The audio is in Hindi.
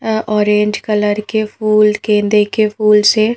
यह ऑरेंज कलर के फूल गेंदे के फूल्स है।